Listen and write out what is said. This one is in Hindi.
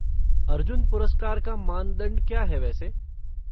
अर्जुन पुरस्कार का मानदंड क्या है वैसे?